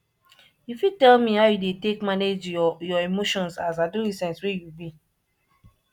you fit tell me how you dey take manage your your emotions as adolescent wey you be